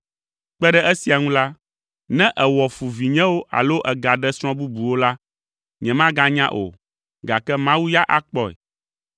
Kpe ɖe esia ŋu la, ne èwɔ fu vinyewo alo ègaɖe srɔ̃ bubuwo la, nyemanya o, gake Mawu ya akpɔe.”